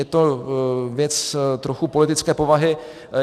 Je to věc trochu politické povahy.